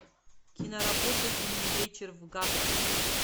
киноработа зимний вечер в гаграх